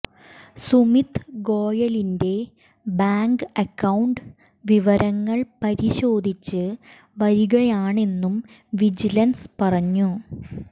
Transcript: സുമിത് ഗോയലിന്റെ bank account വിവരങ്ങൾ പരിശോധിച്ചു വരികയാണെന്നും വിജിലൻസ് പറഞ്ഞു